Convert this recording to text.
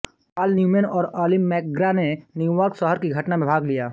पाल Newman और Ali MacGraw ने New York शहर की घटना में भाग लिया